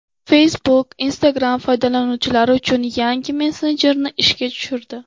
Facebook Instagram foydalanuvchilari uchun yangi messenjerni ishga tushirdi.